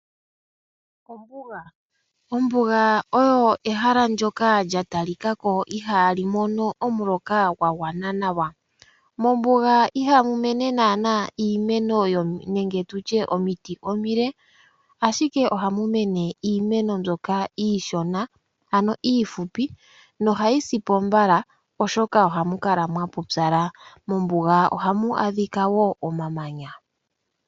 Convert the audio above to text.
Ombuga oyo ehala ndyoka lya talikako ihaali mono omuloka gwagwana nawa. Mombuga ihamu mene naanaa iimeno nenge omiti omile, ashike ohamu mene iimeno mbyoka iishona ano iifupi nohayi sipo mbala oshoka ohamu kala mwapupyala. Mombuga ohamu adhika wo omamanya.